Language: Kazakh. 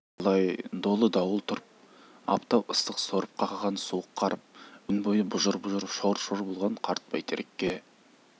талай-талай долы дауыл тұрып аптап ыстық сорып қақаған суық қарып өн бойы бұжыр-бұжыр шор-шор болған қарт бөйтерекке